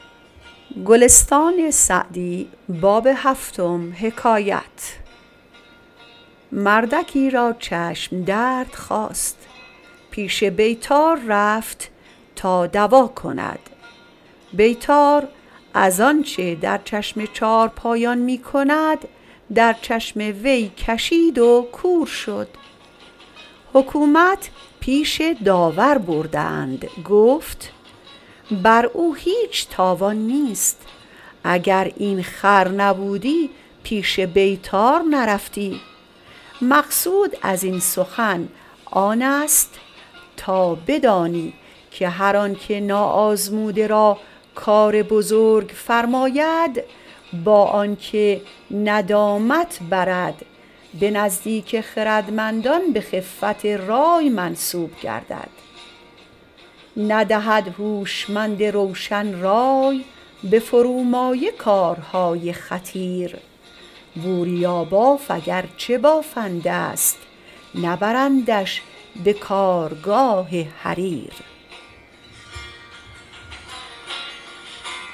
مردکی را چشم درد خاست پیش بیطار رفت که دوا کن بیطار از آنچه در چشم چارپای می کند در دیده او کشید و کور شد حکومت به داور بردند گفت بر او هیچ تاوان نیست اگر این خر نبودی پیش بیطار نرفتی مقصود از این سخن آن است تا بدانی که هر آن که ناآزموده را کار بزرگ فرماید با آن که ندامت برد به نزدیک خردمندان به خفت رای منسوب گردد ندهد هوشمند روشن رای به فرومایه کارهای خطیر بوریاباف اگر چه بافنده ست نبرندش به کارگاه حریر